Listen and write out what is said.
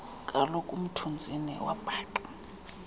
koloku umthunzini wabhaqa